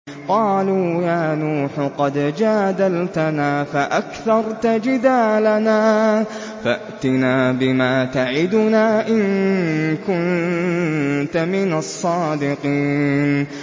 قَالُوا يَا نُوحُ قَدْ جَادَلْتَنَا فَأَكْثَرْتَ جِدَالَنَا فَأْتِنَا بِمَا تَعِدُنَا إِن كُنتَ مِنَ الصَّادِقِينَ